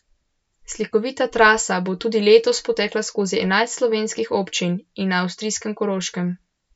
Slikovita trasa bo tudi letos potekala skozi enajst slovenskih občin in na avstrijskem Koroškem.